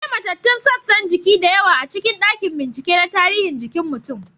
Akwai matattun sassan jiki da yawa a cikin dakin bincike na tarihi jikin mutum.